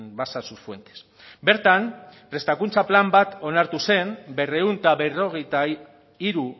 basa sus fuentes bertan prestakuntza plan bat onartu zen berrehun eta berrogeita hiru